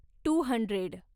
two hundred